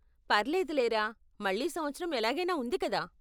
పర్లేదులేరా, మళ్ళీ సంవత్సరం ఎలాగైనా ఉంది కదా.